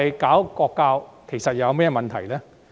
國情教育有甚麼問題？